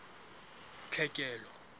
tlhekelo